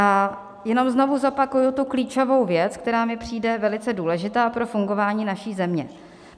A jenom znovu zopakuji tu klíčovou věc, která mi přijde velice důležitá pro fungování naší země.